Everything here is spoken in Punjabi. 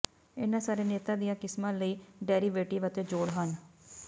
ਇਹਨਾਂ ਸਾਰੇ ਨੇਤਾ ਦੀਆਂ ਕਿਸਮਾਂ ਲਈ ਡੈਰੀਵੇਟਿਵ ਅਤੇ ਜੋੜ ਹਨ